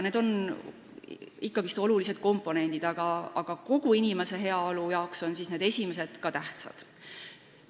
Need viimased on olulised komponendid, aga kogu inimese heaolule on ka need esimesed tähtsad.